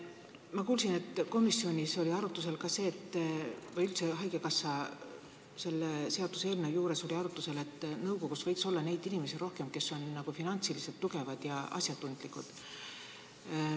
Ma kuulsin, et komisjonis oli arutlusel või üldse seda seaduseelnõu arutades räägiti sellest, et nõukogus võiks olla rohkem neid inimesi, kes on finantsiliselt tugevad ja asjatundlikud.